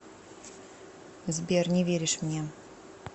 сбер не веришь мне